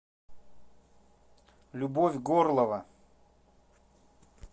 любовь горлова